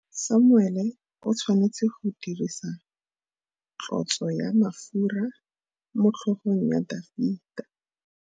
Samuele o tshwanetse go dirisa tlotsô ya mafura motlhôgong ya Dafita.